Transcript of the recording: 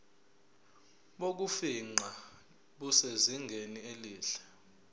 bokufingqa busezingeni elihle